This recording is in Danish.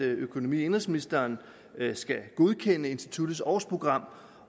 økonomi og indenrigsministeren skal godkende instituttets årsprogram